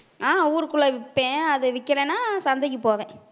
ஆஹ் ஊருக்குள்ள விப்பேன் அது விக்கலைன்னா சந்தைக்கு போவேன்